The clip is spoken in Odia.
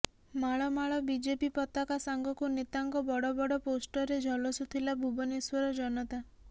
ମାଳ ମାଳ ବିଜେପି ପତାକା ସାଙ୍ଗକୁ ନେତାଙ୍କ ବଡ଼ ବଡ଼ ପୋଷ୍ଟରରେ ଝଲସୁଥିଲା ଭୁବନେଶ୍ୱର ଜନତା